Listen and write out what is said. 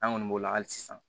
An kɔni b'o la hali sisan